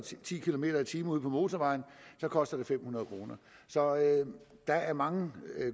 ti kilometer per time ude på motorvejen koster det fem hundrede kroner så der er mange